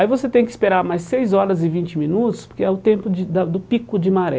Aí você tem que esperar mais seis horas e vinte minutos, porque é o tempo de da do pico de maré.